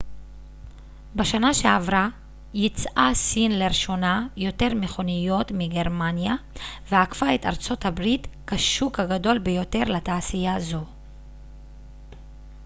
בשנה שעברה ייצאה סין לראשונה יותר מכוניות מגרמניה ועקפה את ארצות הברית כשוק הגדול ביותר לתעשייה זו